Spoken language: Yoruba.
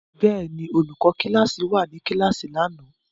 Bẹ́ẹ̀ ni, olùkọ́ kíláàsì wà ní kíláàsì lánàá.